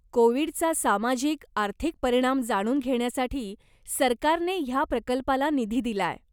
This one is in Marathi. कोवीडचा सामाजिक आर्थिक परिणाम जाणून घेण्यासाठी सरकारने ह्या प्रकल्पाला निधी दिलाय.